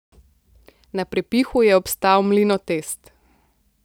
Na prepihu je obstal Mlinotest.